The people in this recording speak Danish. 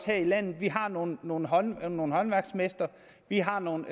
her i landet vi har nogle nogle håndværksmestre vi har nogle